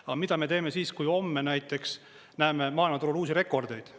Aga mida me teeme siis, kui homme näiteks näeme maailmaturul uusi rekordeid?